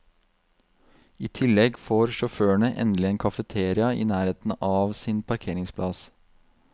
I tillegg får sjåførene endelig en kafeteria i nærheten av sin parkeringsplass.